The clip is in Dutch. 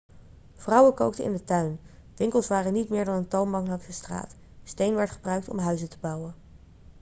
vrouwen kookten in de tuin winkels waren niet meer dan een toonbank langs de straat steen werd gebruikt om huizen te bouwen